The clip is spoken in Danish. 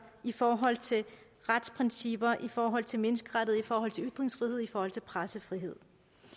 i forhold til retsprincipper i forhold til menneskerettigheder i forhold til ytringsfrihed i forhold til pressefrihed